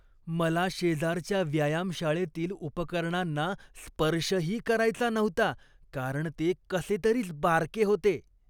मला शेजारच्या व्यायामशाळेतील उपकरणांना स्पर्शही करायचा नव्हता कारण ते कसेतरीच बारके होते.